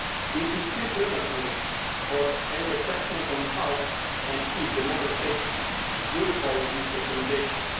It is still premature for any assessment on how and if the Member States will follow these recommendations.